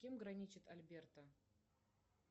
с кем граничит альберто